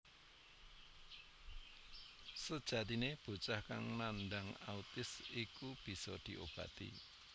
Sejatine bocah kang nandang autis iku bisa diobati